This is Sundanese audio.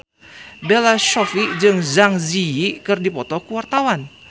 Bella Shofie jeung Zang Zi Yi keur dipoto ku wartawan